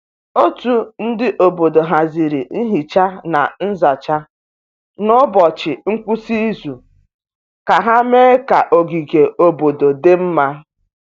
Otu ndi obodo haziri nhicha na nzacha n’ụbọchị ngwụsị izu ka ha mee ka ogige obodo dị mma.